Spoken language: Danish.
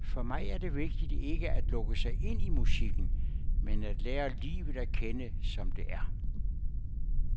For mig er det vigtigt ikke at lukke sig helt ind i musikken, men at lære livet at kende, som det er.